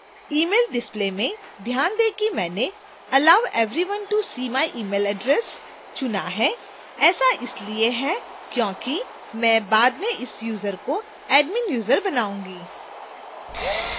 email display में ध्यान दें कि मैंने allow everyone to see my email address चुना है ऐसा इसलिए है क्योंकि मैं बाद में इस यूजर को admin user बनाऊँगी